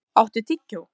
André, áttu tyggjó?